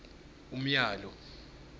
umyalo